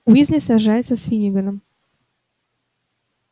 уизли сражается с финниганом